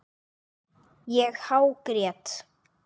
Ég hágrét.